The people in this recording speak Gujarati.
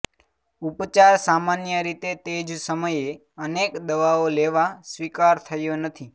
ઉપચાર સામાન્ય રીતે તે જ સમયે અનેક દવાઓ લેવા સ્વીકાર થયો નથી